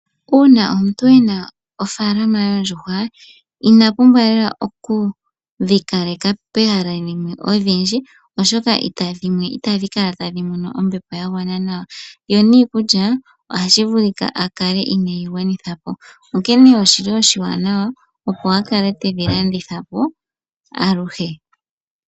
Una omuntu ena ofaalama yoondjuhwa ina pumbwa lela okudhi kaleka pehala limwe odhindji oshoka itadhi kala tadhi mono ombepo ya gwana nawa, yo niikulya ohashi vulika a kale ineyi gwanithapo. Onkene oshili oshiwanawa akale tedhi landithapo aluhe.